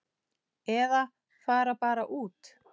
Eða fara bara út.